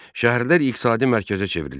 Şəhərlər iqtisadi mərkəzə çevrilir.